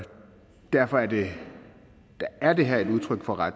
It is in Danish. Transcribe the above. derfor det det her er et udtryk for